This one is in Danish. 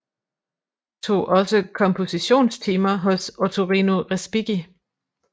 Tog også kompositions timer hos Ottorino Respighi